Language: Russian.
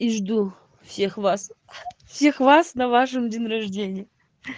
и жду всех вас всех вас на вашем день рожденье